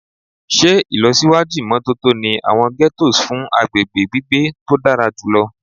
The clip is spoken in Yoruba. Ṣe ilọsiwaju imototo ni awọn ghettos fun agbegbe gbigbe to dara julọ